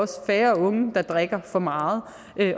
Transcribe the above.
færre unge der drikker for meget